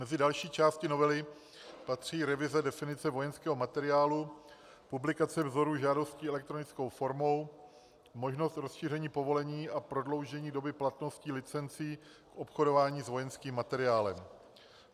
Mezi další části novely patří revize definice vojenského materiálu, publikace vzorů žádostí elektronickou formou, možnost rozšíření povolení a prodloužení doby platnosti licencí v obchodování s vojenským materiálem.